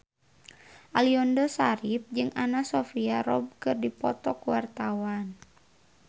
Aliando Syarif jeung Anna Sophia Robb keur dipoto ku wartawan